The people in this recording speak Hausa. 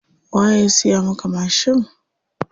Waye ya siya maka mashin?